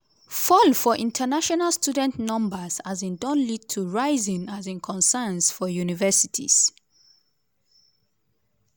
fall for international student numbers um don lead to rising um concerns for universities.